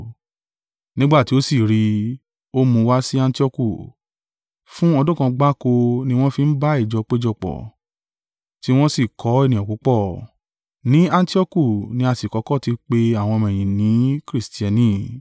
nígbà tí ó sì rí i, ó mú un wá sí Antioku. Fún ọdún kan gbáko ni wọ́n fi ń bá ìjọ péjọpọ̀, tí wọ́n sì kọ́ ènìyàn púpọ̀. Ní Antioku ni a sì kọ́kọ́ ti pe àwọn ọmọ-ẹ̀yìn ni “Kristiani.”